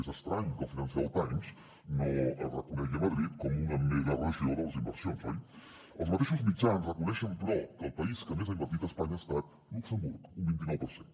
és estrany que el financial times no reconegui madrid com una megaregió de les inversions oi els mateixos mitjans reconeixen però que el país que més ha invertit a espanya ha estat luxemburg un vint nou per cent